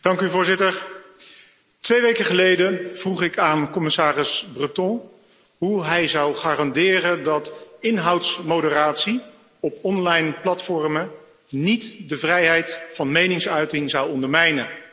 Voorzitter, twee weken geleden vroeg ik aan commissaris Breton hoe hij zou garanderen dat inhoudsmoderatie op onlineplatformen niet de vrijheid van meningsuiting zou ondermijnen.